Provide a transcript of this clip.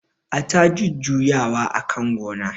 Ata jujuya wa akan gonan